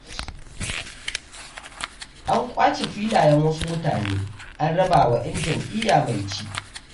An ƙwace filayen wasu mutane, an rabawa 'yan jam'iyya mai ci.